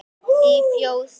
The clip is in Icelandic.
Í Fjósinu